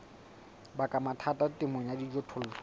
baka mathata temong ya dijothollo